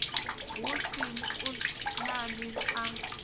hu sin a nani a